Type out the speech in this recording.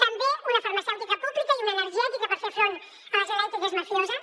també una farmacèutica pública i una energètica per fer front a les elèctriques mafioses